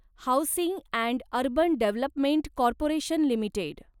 housing and urban development corporation limited